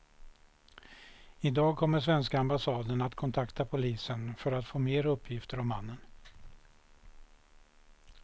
I dag kommer svenska ambassaden att kontakta polisen för att få mer uppgifter om mannen.